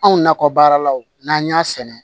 Anw nakɔ baaralaw n'an y'a sɛnɛ